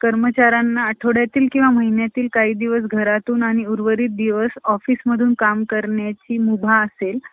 कर्मचाऱ्यांना आठवड्यातील किंवा महिन्यातील काही दिवस घरातून आणि उर्वरित दिवस office मधून काम करण्याची मुभा असेल ,